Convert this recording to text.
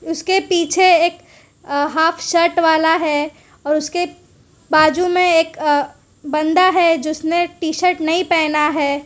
इसके पीछे एक अह हॉफ शर्ट वाला है और उसके बाजू मे एक बन्दा है जिसने टी शर्ट नही पहना है।